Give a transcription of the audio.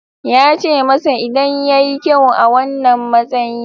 Ya ce masa idan ya yi kyau a wannan matsayi.